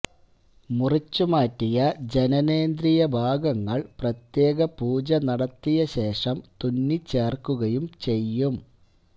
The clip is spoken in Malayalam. മുറിച്ച് മാറ്റിയ ജനനേന്ദ്രിയ ഭാഗങ്ങൾ പ്രത്യേക പൂജ നടത്തിയശേഷം തുന്നി ചേര്ക്കുകയും ചെയ്യും